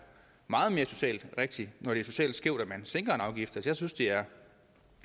meget mere socialt rigtigt når det er socialt skævt at man sænker en afgift jeg synes det er